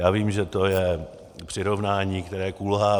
Já vím, že to je přirovnání, které kulhá.